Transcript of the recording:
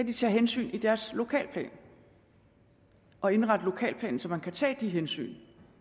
tage hensyn i deres lokalplaner og indrette dem så man kan tage de hensyn